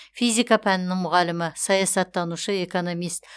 физика пәнінің мұғалімі саясаттанушы экономист